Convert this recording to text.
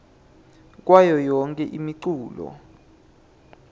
kwayo yonkhe imiculu